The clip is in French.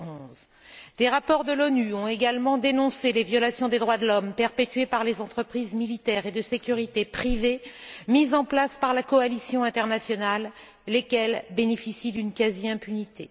2011. Des rapports de l'ONU ont également dénoncé les violations des droits de l'homme perpétrées par les entreprises militaires et de sécurité privées mises en place par la coalition internationale, lesquelles bénéficient d'une quasi impunité.